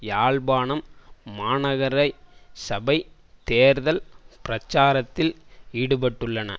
யாழ்ப்பாணம் மாநகரசபை தேர்தல் பிரச்சாரத்தில் ஈடுபட்டுள்ளன